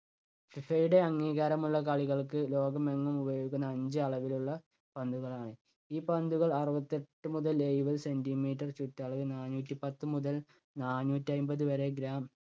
ഫിഫയുടെ അംഗീകാരമുള്ള കളികൾക്ക് ലോകമെങ്ങും ഉപയോഗിക്കുന്നത് അഞ്ച് അളവിലുള്ള പന്തുകളാണ്. ഈ പന്തുകൾ അറുപത്തെട്ടു മുതൽ എഴുപത് centimeter ചുറ്റളവ് നാനൂറ്റി പത്തു മുതൽ നാനൂറ്റി അമ്പത് വരെ gram